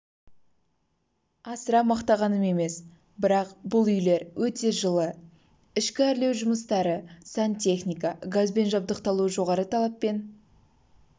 асыра мақтағаным емес бірақ бұл үйлер өте жылы ішкі әрлеу жұмыстары сантехника газбен жабдықталуы жоғары талаппен